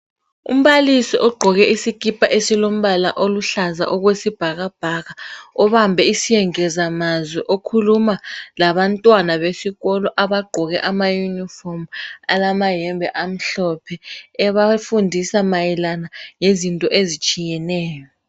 Umbalisi ogqoke isikipa esilombala oluhlaza okwesibhakabhaka. Obambe isengezamazwi, ekhuluma labantwana besikolo abagqoke ama-uniform, alamayembe amhlophe. Ebafundisa mayelana, lezinto ezitshiyeheyo.